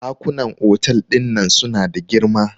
dakunan otal din nan suna da girma